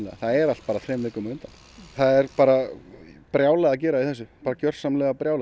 það er allt bara þremur vikum á undan það er bara brjálað að gera í þessu gjörsamlega brjálað